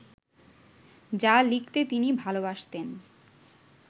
যা লিখতে তিনি ভালবাসতেন